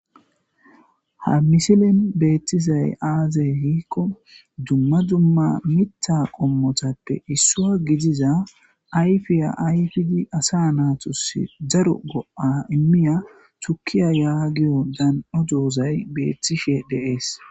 Ha misilen beettisay aazey hiikko dumma dumma mitha qommotappe issua gidiza ayfiya ayfidi asa naatusi daro go'a immiya thukiya yaagiyo dan'o doozay beethtishe deees.